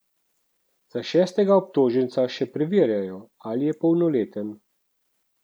Za šestega obtoženca še preverjajo, ali je polnoleten.